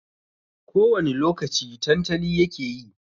Ko wani lokaci tantali yake yi.